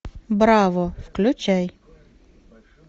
браво включай